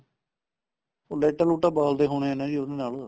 ਲਈਟਾ ਲੁਈਟਾ ਬਾਲਦੇ ਹੋਣੇ ਏ ਜੀ ਉਹਨਾ ਨਾਲ